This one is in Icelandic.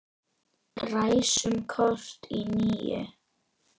Ræsum kort í níu.